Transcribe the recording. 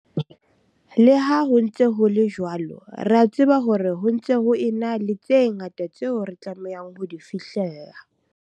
Le ha ho ntse ho le jwalo, re a tseba hore ho ntse ho ena le tse ngata tseo re tlamehang ho di fihlella.